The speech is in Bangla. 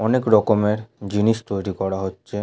অনেক রকমের জিনিস তৈরী করা হচ্ছে।